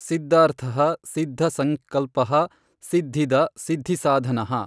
ಸಿದ್ಧಾರ್ಥಃ ಸಿದ್ಧ ಸಙ್ಕಲ್ಪಃ ಸಿದ್ಧಿದಃ ಸಿದ್ಧಿಸಾಧನಃ।